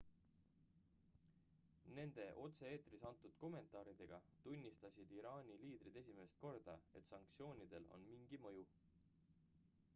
nende otse-eetris antud kommentaaridega tunnistasid iraani liidrid esimest korda et sanktsioonidel on mingi mõju